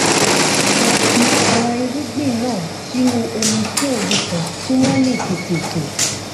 a fi àwọn irúgbìn náà sínú omi fún òru kan kí wón lè tètè hù